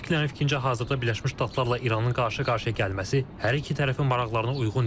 Analitiklərin fikrincə, hazırda Birləşmiş Ştatlarla İranın qarşı-qarşıya gəlməsi hər iki tərəfin maraqlarına uyğun deyil.